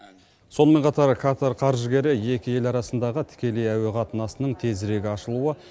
сонымен қатар катар қаржыгері екі ел арасындағы тікелей әуе қатынасының тезірек ашылуы